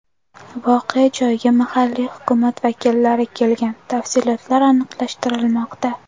Voqea joyiga mahalliy hukumat vakillari kelgan, tafsilotlar aniqlashtirilmoqda.